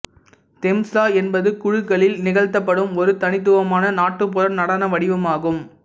தெம்சா என்பது குழுக்களில் நிகழ்த்தப்படும் ஒரு தனித்துவமான நாட்டுப்புற நடன வடிவமாகும்